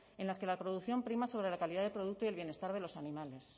en las que la producción prima sobre la calidad del producto y el bienestar de los animales